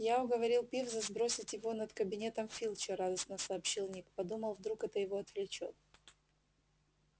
я уговорил пивза сбросить его над кабинетом филча радостно сообщил ник подумал вдруг это его отвлечёт